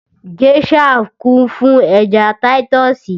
Gèésà kún fún ẹja táyítọ́sì